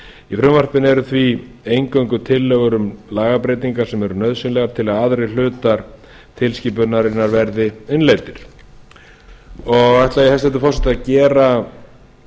í frumvarpinu eru því eingöngu tillögur um lagabreytingar sem eru nauðsynlegar til að aðrir hlutar tilskipunarinnar verði innleiddir ætla ég hæstvirtur forseti að gera